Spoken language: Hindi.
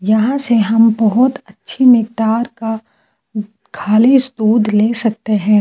यहां से हम बहुत अच्छे नेकटार का खाली ले सकते हैं।